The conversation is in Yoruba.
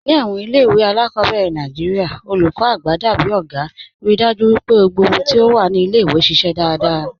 Ni awọn ilẹ̀-iwe aláàkọ́bẹ̀rẹ̀ Nàìjíríà, olúkọ́ àgbà dábìí ọ̀gá, ríì dájú pé ọ̀hùn gbogbo ti o wà ni ilẹ̀-iwe ṣiṣẹ daradara.